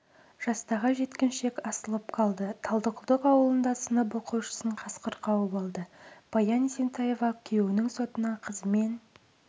жастағы жеткіншек асылып қалды талдықұдық ауылында сынып оқушысын қасқыр қауып алды баян есентаева күйеуінің сотына қызымен